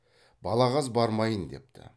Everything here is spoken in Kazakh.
балағаз бармайын депті